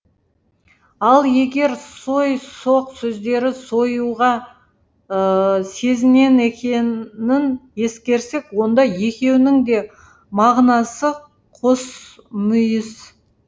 ал егер сой соғ сөздері сойуға сезінен екенің ескерсек онда екеуінің де мағынасы қос мүйіз